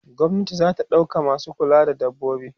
gwamnati zata ɗauka masu kulawa da dabbobi